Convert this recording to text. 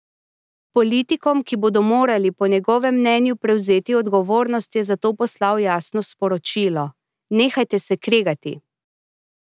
Politikom, ki bodo morali po njegovem mnenju prevzeti odgovornost, je zato poslal jasno sporočilo: "Nehajte se kregati.